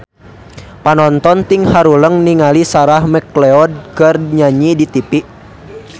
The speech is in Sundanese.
Panonton ting haruleng ningali Sarah McLeod keur nyanyi di tipi